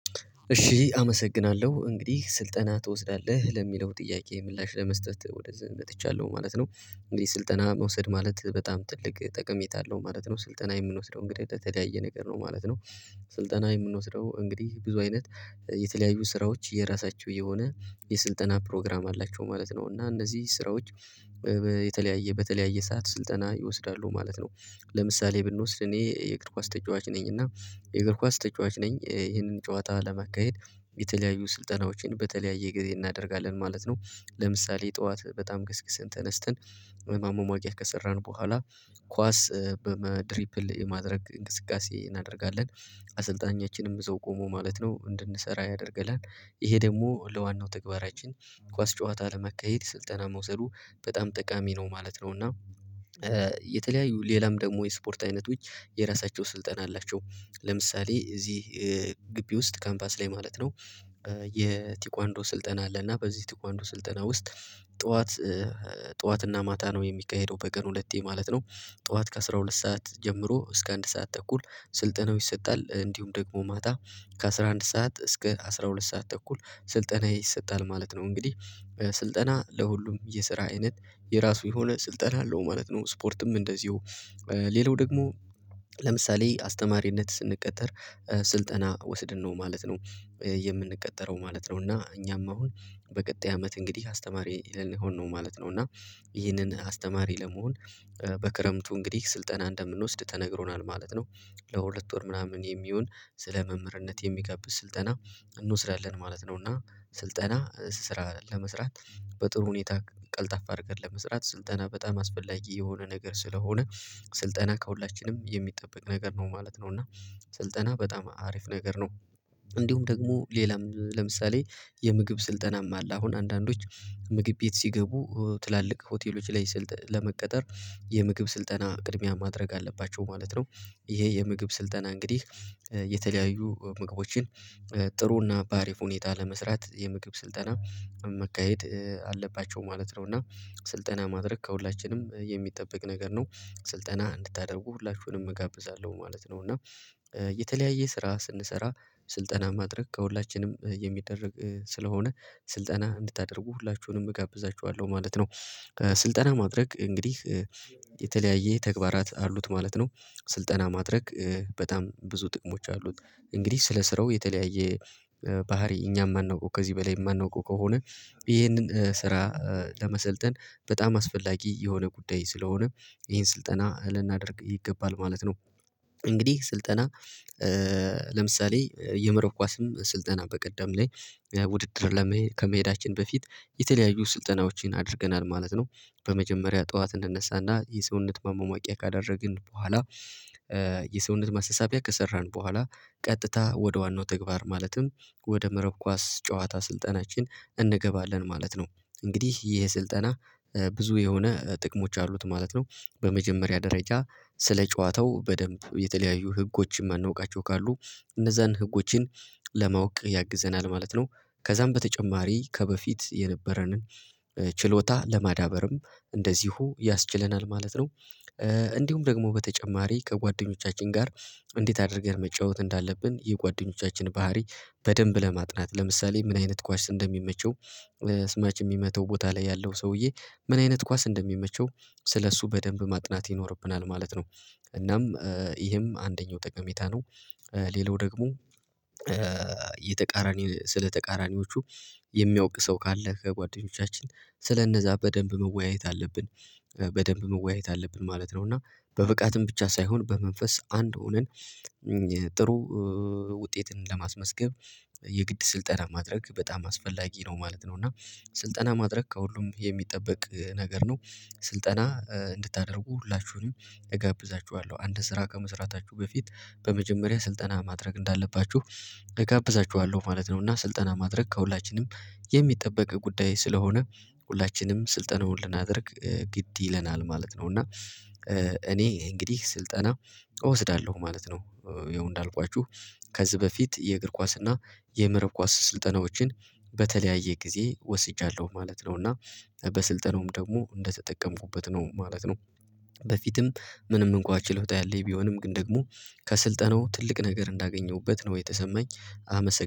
እሺ አመሰግናለሁ እንግዲህ ስልጠና ትወስዳለህ ለሚለው ጥያቄ ምላሽ ለመስጠት ወደዚህ መጥቻለሁ ማለት ነው። እንግዲህ ስልጠና መውሰድ ማለት በጣም ትልቅ ጠቀሜታ አለው ማለት ነው ስልጠና የምንወስደው እንግዲህ በተለያየ ነገር ነው ማለት ነው። ስልጠና የምንወስደው እንግዲህ ብዙ አይነት የተለያዩ ስራዎች የራሳቸው የሆነ የስልጠና ፕሮግራም አላቸው ማለት ነው እና እነዚህ ስራዎች በየተለያየ በተለያየ ሰዓት ስልጠና ይወስዳሉ ማለት ነው። ለምሳሌ ብንወስድ እኔ የእግር ኳስ ተጫዋች ነኝ እና የእግር ኳስ ተጫዋች ነኝ ይህንን ጨዋታ ለመካሄድ የተለያዩ ስልጠናዎችን በተለያየ ጊዜ እናደርጋለን ማለት ነው። ለምሳሌ ጠዋት በጣም ገስግስን ተነስተን ማማሟቂያ ከሰራን በኋላ ኳስ በመድሪፕል የማድረግ እንቅስቃሴ እናደርጋለን። አሰልጣኛችንም እዛው ቆሞ ማለት ነው እንድንሰራ ያደርገናል ይሄ ደግሞ ለዋናው ተግባራችን ኳስ ጨዋታ ለማካሄድ ስልጠና መውሰዱ በጣም ጠቃሚ ነው ማለት ነው። እና የተለያዩ ሌላም ደግሞ የስፖርት አይነትዎች የራሳቸው ስልጠና አላቸው ለምሳሌ እዚህ ግቢ ውስጥ ካምፓስ ላይ ማለት ነው። የቴኳንዶ ስልጠና አለ እና በዚህ ቴኳንዶ ስልጠና ውስጥ ጠዋት ጠዋትና ማታ ነው የሚካሄደው በቀን ሁለቴ ማለት ነው። ጠዋት ከአሥራ ሁለት ሰዓት ጀምሮ እስከ አንድ ሰዓት ተኩል ስልጠናው ይሰጣል እንዲሁም ደግሞ ማታ ከአሥራ አንድ ሰዓት እስከ አስራ ሁለት ሰዓት ተኩል ስልጠና ይሰጣል ማለት ነው። እንግዲህ ስልጠና ለሁሉም የስራ አይነት የራሱ የሆነ ስልጠና አለው ማለት ነው ስፖርትም እንደዚሁ ሌላው ደግሞ ለምሳሌ አስተማሪነት ስንቀጠር ስልጠና ወስድን ነው ማለት ነው። የምንቀጠረው ማለት ነው እና እኛም አሁን በቀጣይ አመት እንግዲህ አስተማሪ ልሆን ነው ማለት ነው እና ይሄንን አስተማሪ ለመሆን በክረምቱ እንግዲህ ስልጠና እንደምንወስድ ተነግሮናል ማለት ነው። ለሁለት ወር ምናምን የሚሆን ስለ መምህርነት የሚጋብዝ ስልጠና እንወስዳለን ማለት ነው። እና ስልጠና ስራ ለመስራት በጥሩ ሁኔታ ቀልጣፋ አድርገን ለመስራት ስልጠና በጣም አስፈላጊ የሆነ ነገር ስለሆነ ስልጠና ከሁላችንም የሚጠበቅ ነገር ነው ማለት ነው። እና ስልጠና በጣም አሪፍ ነገር ነው። እንዲሁም ደግሞ ሌላም ለምሳሌ የምግብ ስልጠናም አለ አሁን አንዳንዶች ምግብ ቤት ሲገቡ ትላልቅ ሆቴሎች ላይ ስልጠና ለመቀጠር የምግብ ስልጠና ቅድሚያ ማድረግ አለባቸው ማለት ነው። ይሄ የምግብ ስልጠና እንግዲህ የተለያዩ ምግቦችን ጥሩና በአሪፍ ሁኔታ ለመስራት የምግብ ስልጠና መካሄድ አለባቸው ማለት ነው። እና ስልጠና ማድረግ ከሁላችንም የሚጠበቅ ነገር ነው ስልጠና እንድታደርጉ ሁላችሁንም እጋብዛለሁ ማለት ነው። እና የተለያየ ስራ ስንሰራ ስልጠና ማድረግ ከሁላችንም የሚደረግ ስለሆነ ስልጠና እንድታደርጉህላችሁንም እጋብዛችኋለሁ ማለት ነው። ስልጠና ማድረግ እንግዲህ የተለያየ ተግባራት አሉት ማለት ነው ስልጠና ማድረግ በጣም ብዙ ጥቅሞች አሉት። እንግዲህ ስለ ስራው የተለያየ ባህሪ እኛም የማናውቀው ከዚህ በላይ የማናውቀው ከሆነ ይህንን ስራ ለመሰልጠን በጣም አስፈላጊ የሆነ ጉዳይ ስለሆነ ይሄን ስልጠና ልናደርግ ይገባል ማለት ነው። እንግዲህ ስልጠና ለምሳሌ የመረብ ኳስም ስልጠና በቀደም ላይ ውድድር ለመሄድ ከመሄዳችን በፊት የተለያዩ ስልጠናዎችን አድርገናል ማለት ነው። በመጀመሪያ ጠዋት እንነሳና የሰውነት ማማሟቂያ ካደረግን በኋላ የሰውነት ማስተሳቢያ ከሰራን በኋላ ቀጥታ ወደ ዋናው ተግባር ማለትም ወደ መረብ ኳስ ጨዋታ ስልጠናችን እንገባለን ማለት ነው። እንግዲህ ይሄ ስልጠና ብዙ የሆነ ጥቅሞች አሉት ማለት ነው። በመጀመሪያ ደረጃ ስለ ጨዋታው በደንብ የተለያዩ ህጎችን የማናውቃቸው ካሉ እነዛን ህጎችን ለማወቅ ያግዘናል ማለት ነው። ከዛም በተጨማሪ ከበፊት የነበረንን ችሎታ ለማዳበርም እንደዚሁ ያስችለናል ማለት ነው። እንዲሁም ደግሞ በተጨማሪ ከጓደኞቻችን ጋር እንዴት አድርገን መጫወት እንዳለብን የጓደኞቻችን ባህሪ በደንብ ለማጥናት ለምሳሌ ምን አይነት ኳስ እንደሚመቸው ቲማችን የሚመታው ቦታ ላይ ያለው ሰውዬ ምን አይነት ኳስ እንደሚመቸው ስለእሱ በደንብ ማጥናት ይኖርብናል ማለት ነው። እናም ይሄም አንደኛው ጠቀሜታ ነው። ሌላው ደግሞ የተቃራኒ ስለ ተቃራኒዎቹ የሚያውቅ ሰው ካለ ከጓደኞቻችን ስለነዛ በደንብ መወያየት አለብን በደንብ መወያየት አለብን ማለት ነው። እና በብቃትም ብቻ ሳይሆን በመንፈስ አንድ ሆነት ጥሩ ውጤትን ለማስመስገብ የግድ ስልጠና ማድረግ በጣም አስፈላጊ ነው ማለት ነው። እና ስልጠና ማድረግ ከሁሉም የሚጠበቅ ነገር ነው። ስልጠና እንድታደርጉ ሁላችሁንም እጋብዛችኋለሁ አንድ ስራ ከመስራታችሁ በፊት በመጀመሪያ ስልጠና ማድረግ እንዳለባችሁ እጋብዛችኋለሁ ማለት ነው። እና ስልጠና ማድረግ ከሁላችንም የሚጠበቅ ጉዳይ ስለሆነ ሁላችንም ስልጠናውን ልናደርግ ግድ ይለናል ማለት ነው። እና እኔ እንግዲህ ስልጠና እወስዳለሁ ማለት ነው። ይኸው እንዳልኳችሁ ከዚህ በፊት የእግር ኳስ እና የምዕራብ ኳስ ስልጠናዎችን በተለያየ ጊዜ ወስጃለሁ ማለት ነው። እና በስልጠናውም ደግሞ እንደተጠቀምኩበት ነው ማለት ነው። በፊትም ምንም እንኳን ችሎታ ያለኝ ቢሆንም ግን ደግሞ ከስልጠናው ትልቅ ነገር እንዳገኘሁበት ነው የተሰማኝ። አመሰግናለሁ